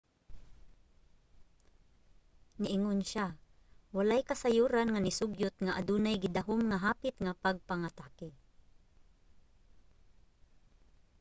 niingon siya walay kasayuran nga nisugyot nga adunay gidahom nga hapit nga pagpangatake